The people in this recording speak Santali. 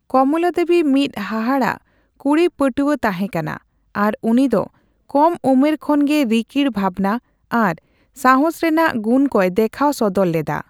ᱠᱚᱢᱞᱟᱫᱮᱣᱵᱤ ᱢᱤᱫ ᱦᱟᱦᱟᱲᱟᱜ ᱠᱩᱲᱤᱯᱟᱹᱴᱣᱟᱹ ᱛᱟᱦᱮᱸ ᱠᱟᱱᱟ ᱟᱨ ᱩᱱᱤᱫᱚ ᱠᱚᱢ ᱩᱢᱮᱨ ᱠᱷᱚᱱ ᱜᱮ ᱨᱤᱠᱤᱲ ᱵᱷᱟᱵᱱᱟ ᱟᱨ ᱥᱟᱦᱚᱥ ᱨᱮᱱᱟᱜ ᱜᱩᱱᱠᱚᱭ ᱫᱮᱠᱷᱟᱣ ᱥᱚᱫᱚᱨ ᱞᱮᱫᱟ ᱾